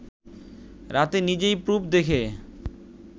রাতে নিজেই প্রুফ দেখে